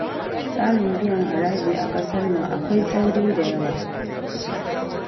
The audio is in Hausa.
Tsarin biyan haraji a ƙasar nan akwai tsauri da yawa